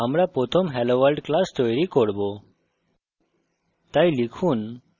text editor we আমরা প্রথম helloworld class তৈরি করব